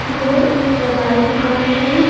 यह एक दवाई दुकान है।